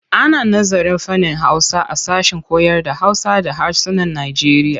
Ana nazarın fannin Hausa a sashen koyarda Hausa da harsunan Najeriya.